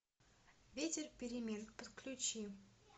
ветер перемен подключи